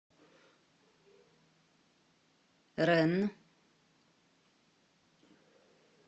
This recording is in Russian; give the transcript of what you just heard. ренн